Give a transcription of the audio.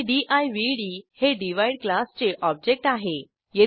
आणि दिवड हे डिव्हाइड क्लासचे ऑब्जेक्ट आहे